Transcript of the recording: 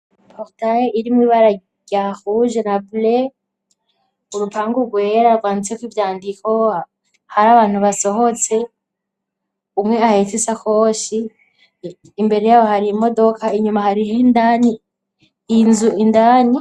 Portaye irimwo ibararya huje na bley urupangu rwera rwanteko ivyandikoa hari abantu basohotse umwe aheta isakoshi imbere yabo hariye imodoka inyuma hariho indani inzu indani.